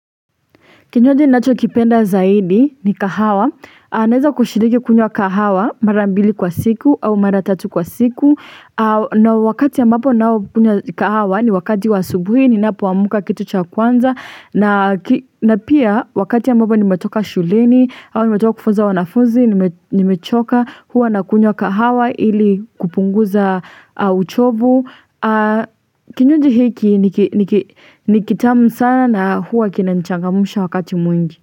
Kinywaji ni nacho kipenda zaidi ni kahawa. Naeza kushiriki kunywa kahawa mara mbili kwa siku au mara tatu kwa siku. Na wakati ambapo ninao kunywa kahawa ni wakati wa asubuhi ninapoamka kitu cha kwanza. Na pia wakati ambapo nimetoka shuleni au nimetoka kufuza wanafunzi, nimechoka huwa nakunywa kahawa ili kupunguza uchovu. Kinywaji hiki nikitamu sana na huwa kinanichangamsha wakati mwingi.